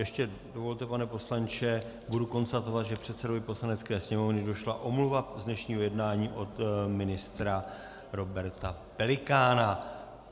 Ještě dovolte, pane poslanče, budu konstatovat, že předsedovi Poslanecké sněmovny došla omluva z dnešního jednání od ministra Roberta Pelikána.